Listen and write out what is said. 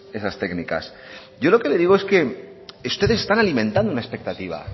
esas técnicas yo lo que le digo es que ustedes están alimentando una expectativa